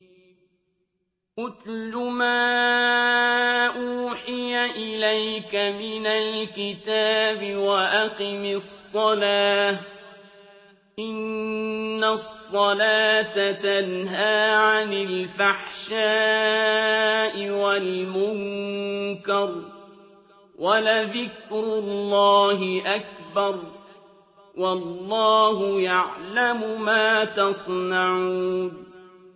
اتْلُ مَا أُوحِيَ إِلَيْكَ مِنَ الْكِتَابِ وَأَقِمِ الصَّلَاةَ ۖ إِنَّ الصَّلَاةَ تَنْهَىٰ عَنِ الْفَحْشَاءِ وَالْمُنكَرِ ۗ وَلَذِكْرُ اللَّهِ أَكْبَرُ ۗ وَاللَّهُ يَعْلَمُ مَا تَصْنَعُونَ